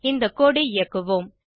இந்த கோடு ஐ இயக்குவோம்